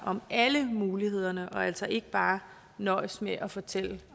om alle mulighederne og altså ikke bare nøjes med at fortælle